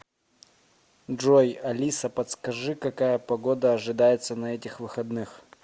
джой алиса подскажи какая погода ожидается на этих выходных